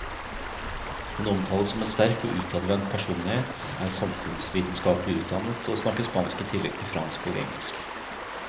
Hun omtales som en sterk og utadvendt personlighet, er samfunnsvitenskapelig utdannet og snakker spansk i tillegg til fransk og engelsk.